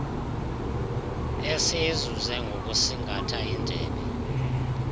esiyizuze ngokusingatha indebe